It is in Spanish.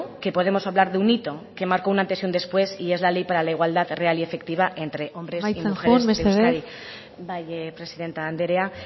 que podemos hablar de un hito que marcó un antes y un después y es la ley para la igualdad real y efectiva entre hombres y mujeres en euskadi amaitzen joan mesedez bai presidente anderea